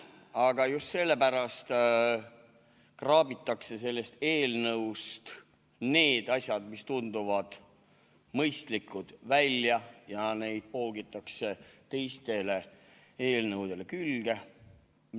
Aga just sellepärast kraabitakse sellest eelnõust need asjad, mis tunduvad mõistlikud, välja ja neid poogitakse teistele eelnõudele külge.